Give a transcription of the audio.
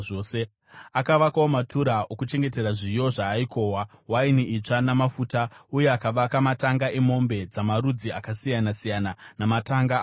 Akavakawo matura okuchengetera zviyo zvaaikohwa, waini itsva, namafuta; uye akavaka matanga emombe dzamarudzi akasiyana-siyana namatanga amakwai.